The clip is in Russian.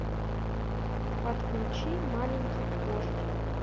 подключи маленький вождь